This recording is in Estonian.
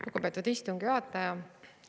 Lugupeetud istungi juhataja!